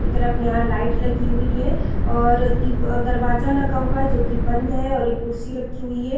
की तरफ यहाँ लाइट लगी हुई है और दीव दरवाज़ा लगा हुआ है जो कि बंद है और एक कुर्सी रखी हुई है।